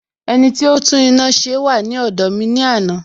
Ẹniti ó tún iná ṣe wà ní ọ̀dọ̀ mi ní àná